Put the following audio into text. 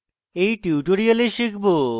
in tutorial শিখব